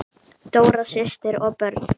Dóra systir og börn.